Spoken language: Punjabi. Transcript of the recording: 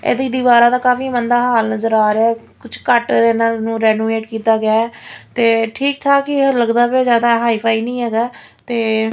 ਇਹਦੀ ਦੀਵਾਰਾ ਦਾ ਕਾਫੀ ਮੰਦਾ ਹਾਲ ਨਜ਼ਰ ਆ ਰਿਹਾ ਆ ਕੁਝ ਘੱਟ ਇਹਨਾਂ ਨੂੰ ਰੈਨੋਵੇਟ ਕੀਤਾ ਗਿਆ ਤੇ ਠੀਕ ਠਾਕ ਹੀ ਇਹ ਲੱਗਦਾ ਪਿਆ ਜਿਆਦਾ ਹਾਈ-ਫਾਈ ਨਹੀਂ ਹੈਗਾ ਤੇ --